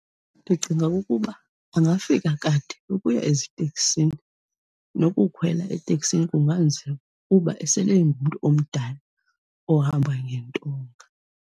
Ndicinga ukuba angafika kade ukuya eziteksini. Nokukhwela eteksini kunganzima kuba esele engumntu omdala ohamba ngentonga.